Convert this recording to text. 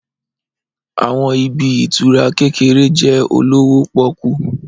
Àwọn ibi ìtura kékeré jẹ́ olówó pọ́kú